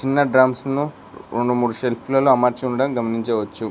ఇంకా డ్రమ్స్ ను రొండు మూడు సెల్ఫ్లల్లో అమర్చి ఉండడం గమనించవచ్చు.